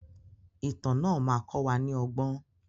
Ìtàn náà má kọ wa ní ọgbọ́n.